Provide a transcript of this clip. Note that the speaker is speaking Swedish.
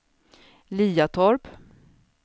Liatorp